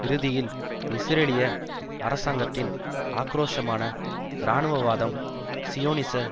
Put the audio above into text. இறுதியில் இஸ்ரேலிய அரசாங்கத்தின் ஆக்கிரோஷமான இராணுவவாதம் சியோனிச